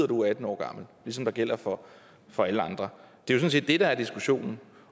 du er atten år gammel ligesom det gælder for for alle andre det er jo sådan set det der er diskussionen